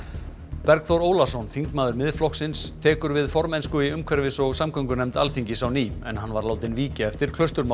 Bergþór Ólason þingmaður Miðflokksins tekur við formennsku í umhverfis og samgöngunefnd Alþingis á ný en hann var látinn víkja eftir